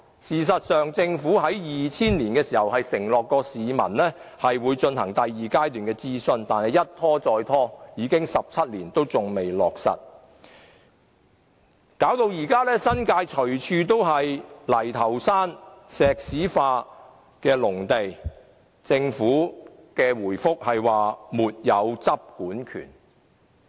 事實上，政府於2000年承諾市民會進行第二階段諮詢，但諮詢一拖再拖，已經17年仍未落實承諾，導致新界到處都是泥頭山、石屎農地，但政府的答覆卻是"沒有執管權"。